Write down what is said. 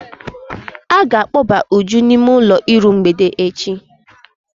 A ga-akpọba Uju n'ime ụlọ iru mgbede echi.